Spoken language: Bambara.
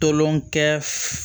Tolon kɛ